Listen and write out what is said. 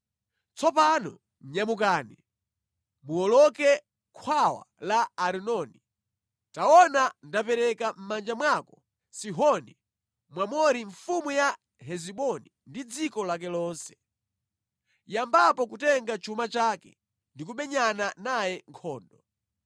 “Tsopano nyamukani, muwoloke khwawa la Arinoni. Taona ndapereka mʼmanja mwako Sihoni Mwamori mfumu ya Hesiboni ndi dziko lake lonse. Yambapo kutenga chuma chake ndi kumenyana naye nkhondo.